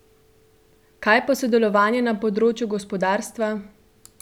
Kaj pa sodelovanje na področju gospodarstva?